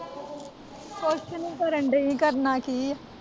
ਕੁੱਛ ਨੀ ਕਰਨ ਡਈ ਕਰਨਾ ਕੀ ਏ।